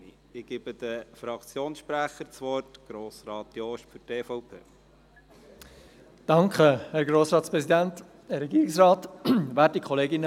Ich gebe den Fraktionssprechern das Wort: zuerst Grossrat Jost für die EVP.